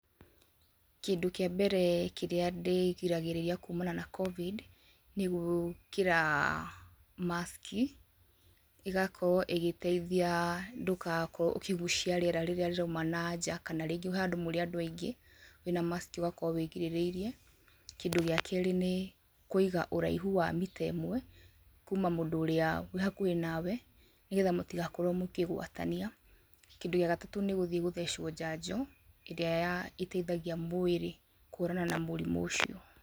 Kĩndũ kĩa mbere kĩrĩa ndĩrĩgagĩrĩria kumana na Covid ,nĩgwĩkĩraa maciki. Ĩgakorwo ĩgĩteithia ndũgakorwo ũkĩgucia riera rĩrĩa rĩraumana na nja kana hehandũ kũrĩ andũ aingĩ, wĩna maciki ũgakorwo wĩrigĩrĩirie . Kĩndũ gĩa kerĩ nĩ kũiga ũraihu wa mita ĩmwe, kuma mũndũ ũrĩa wĩhakuhĩ nawe. Nĩgetha mũtigakorwo mũkĩgwatania. Kĩndũ gĩa gatatũ nĩ gũthiĩ gũthecwo njanjo, ĩrĩa ĩteithagia mwĩrĩ kwonana na mũrimũ ũcio .